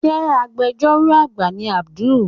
Ṣe Agbẹjọ́rò àgbà ni Abdul?